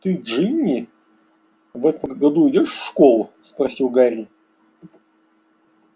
ты джинни в этом году идёшь в школу спросил гарри